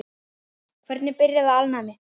Hvernig byrjaði alnæmi?